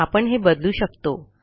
आपण हे बदलू शकतो